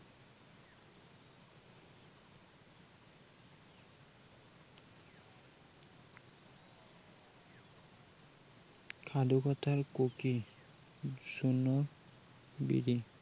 সাধু কথাৰ কুকি জোনৰ বিৰিণ